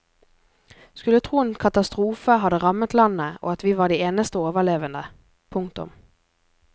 Skulle tro en katastrofe hadde rammet landet og at vi var de eneste overlevende. punktum